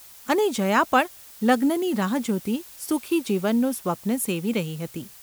અને જયા પણ લગ્નની રાહ જોતી સુખી જીવનનું સ્વપ્ન સેવી રહી હતી.